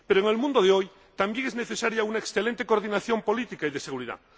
Pero en el mundo de hoy también es necesaria una excelente coordinación política y de seguridad.